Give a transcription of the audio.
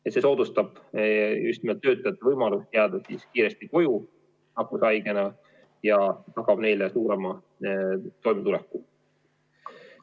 See kord soodustab just nimelt töötajate võimalust jääda nakkushaigena kohe koju, sest tagab neile suurema toimetuleku.